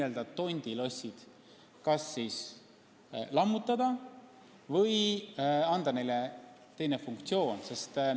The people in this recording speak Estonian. Need tondilossid tuleb kas siis lammutada või anda neile teine funktsioon.